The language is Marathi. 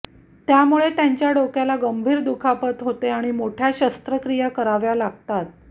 त्यामुळे त्यांच्या डोक्याला गंभीर दुखापत होते आणि मोठ्या शस्त्रक्रिया कराव्या लागतात